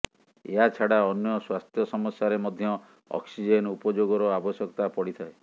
ଏହାଛଡ଼ା ଅନ୍ୟ ସ୍ୱାସ୍ଥ୍ୟ ସମସ୍ୟାରେ ମଧ୍ୟ ଅକ୍ସିଜେନ ଉପଯୋଗର ଆବଶ୍ୟକତା ପଡ଼ିଥାଏ